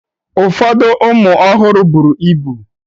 Ụfọdụ ụmụ ọhụrụ bụrụ ịbụ.